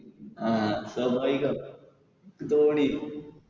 ആ സ്വാഭാവികം ആ